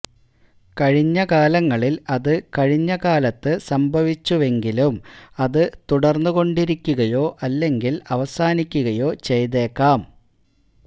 കഴിഞ്ഞകാലങ്ങളിൽ അത് കഴിഞ്ഞ കാലത്ത് സംഭവിച്ചുവെങ്കിലും അത് തുടർന്നുകൊണ്ടിരിക്കുകയോ അല്ലെങ്കിൽ അവസാനിക്കുകയോ ചെയ്തേക്കാം